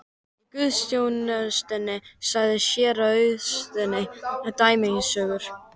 Í guðsþjónustunni sagði séra Auðunn dæmisögur.